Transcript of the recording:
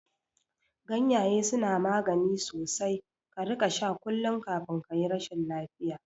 Ganyaye suna magani sosai, ka rika sha kullum kafin kayi rashin lafiya